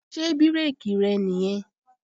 Ṣé bírèkì rẹ̀ nìyẹn?